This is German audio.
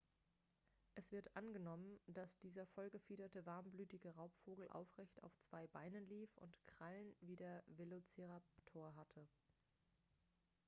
es wird angenommen dass dieser voll gefiederte warmblütige raubvogel aufrecht auf zwei beinen lief und krallen wie der velociraptor hatte